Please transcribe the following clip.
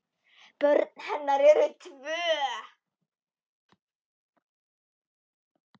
Börn hennar eru tvö.